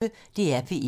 DR P1